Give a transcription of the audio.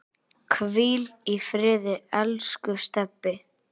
Hvíl í friði, elsku Stebbi.